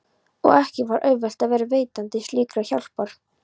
Og ekki var auðvelt að vera veitandi slíkrar hjálpar.